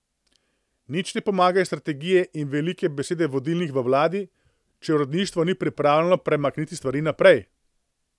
Nič ne pomagajo strategije in velike besede vodilnih v vladi, če uradništvo ni pripravljeno premakniti stvari naprej.